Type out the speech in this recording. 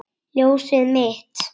Ljósið mitt.